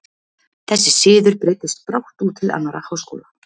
Þessi siður breiddist brátt út til annarra háskóla.